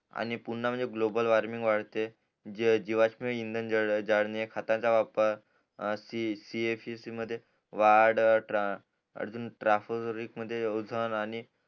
आणि पुन्हा म्हणजे ग्लोबल वॉर्मिंग वाढते जीवाष्म इंधन जाडणे खताचा वापर सी ये सी सी मध्ये वाढ अजून ट्रफ जरि मध्ये ओझन